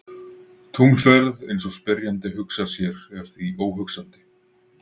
Tunglferð eins og spyrjandi hugsar sér er því óhugsandi.